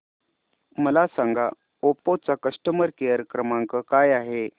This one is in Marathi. मला सांगा ओप्पो चा कस्टमर केअर क्रमांक काय आहे